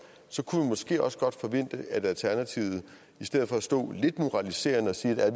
så kunne vi måske også godt forvente at alternativet i stedet for at stå lidt moraliserende og sige at